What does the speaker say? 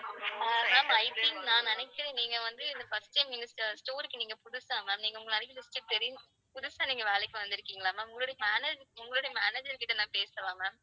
Ah ma'am I think நான் நினைக்கிறேன் நீங்க வந்து இந்த first time நீங்க store க்கு நீங்க புதுசா ma'am. நீங்க தெரியும் புதுசா நீங்க வேலைக்கு வந்துருக்கீங்களா ma'am உங்களுடைய manager உங்களுடைய manager கிட்ட நான் பேசணுமே ma'am